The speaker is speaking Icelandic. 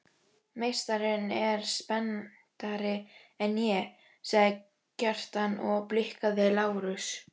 Meistarinn er spenntari en ég, sagði Kjartan og blikkaði Lárus.